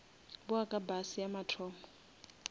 bowa ka bus ya mathomo